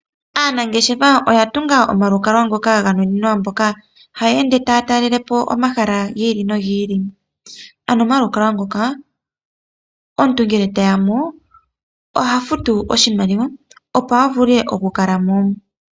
Aanangeshefa oya tunga omalukalwa ngoka ga nuninwa mboka haya ende taya talelepo omahala giili nogiili. Ano omalukalwa ngoka, omuntu ngele te yamo oha futu oshimaliwa opo avule oku kala mo.